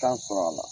Tan sɔrɔ a la